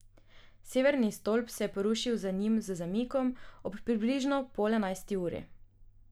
Severni stolp se je porušil za njim z zamikom, ob približno pol enajsti uri.